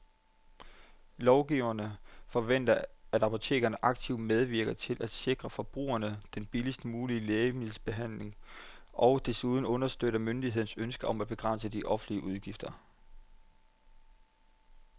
Lovgiverne forventer, at apoteket aktivt medvirker til at sikre forbrugerne den billigst mulige lægemiddelbehandling og desuden understøtter myndighedernes ønske om at begrænse de offentlige udgifter.